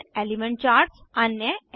भिन्न element charts 2